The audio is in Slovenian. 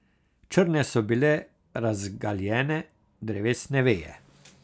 Črne so bile razgaljene drevesne veje.